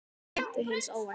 Væntu hins óvænta.